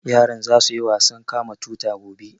Yaran za su yi wasan kama tuta gobe